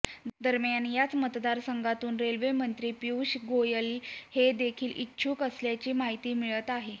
दरम्यान याच मतदारसंघातून रेल्वे मंत्री पियुष गोयल हे देखील इच्छुक असल्याची माहिती मिळत आहे